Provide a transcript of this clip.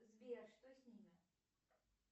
сбер что с ними